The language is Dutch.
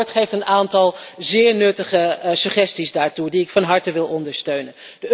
En het verslag geeft een aantal zeer nuttige suggesties daartoe, die ik van harte wil ondersteunen.